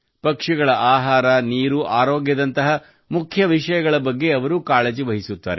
ಪಕ್ಷಿಗಳ ಆಹಾರ ನೀರು ಆರೋಗ್ಯದಂತಹ ಮುಖ್ಯ ವಿಷಯಗಳ ಬಗ್ಗೆ ಅವರು ಕಾಳಜಿ ವಹಿಸುತ್ತಾರೆ